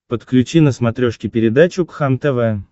подключи на смотрешке передачу кхлм тв